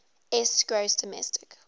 s gross domestic